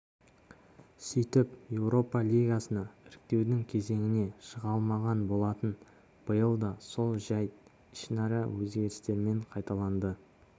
ордабасы қазақстанның клубтық рейтингіне ұпай қосып сапарын тәмамдады осы ұпайды еурокубоктағы командамызға бөліп жіберсек ұпай